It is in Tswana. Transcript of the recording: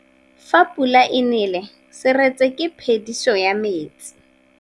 Fa pula e nelê serêtsê ke phêdisô ya metsi.